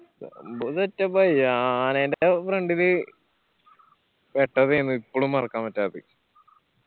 സംഭവം setup ആയി. ആനെന്റെ front ല് പെട്ടതെന്ന് ഇപ്പൊളും മറക്കാൻ പറ്റാത്തത്